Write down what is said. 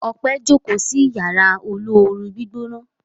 Ope njo ko sí Yàrá olóoru-gbígbóná.